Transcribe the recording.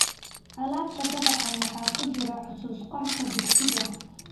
Alaabta daabacan waxaa ku jira xusuus qorka dugsiga.